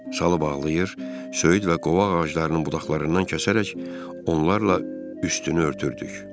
Salı bağlayır, söyüd və qovaq ağaclarının budaqlarından kəsərək, onlarla üstünü örtürdük.